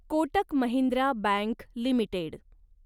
Kotak Mahindra bank limited